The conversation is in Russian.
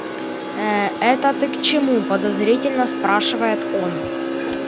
ээ это ты к чему подозрительно спрашивает он